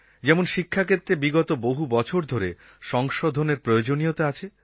যেমন শিক্ষাক্ষেত্রে বিগত বহু বছর ধরে সংশোধনের প্রয়োজনীয়তা আছে